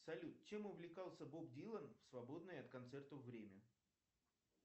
салют чем увлекался боб дилан в свободное от концертов время